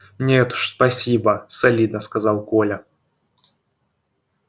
нет уж спасибо солидно сказал коля